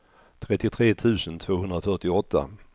trettiotre tusen tvåhundrafyrtioåtta